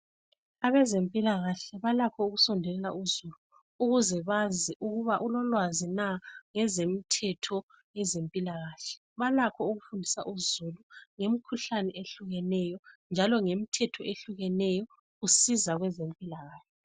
Abezempilakahle balakho ukusondelela uzulu ukuthi bazi ukuba balolwazi na ngezemithetho yezempilakahle. Balakho ukufundisa uzulu ngemikhuhlane ehlukeneyo njalo ngemithetho ehlukeneyo. Kusiza kwezempilakahle.